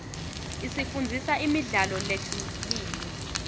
isifundzisa imidlalo lehlukile